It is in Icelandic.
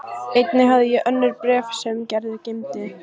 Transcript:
Einnig hafði ég önnur bréf sem Gerður geymdi.